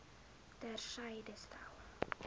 ter syde stel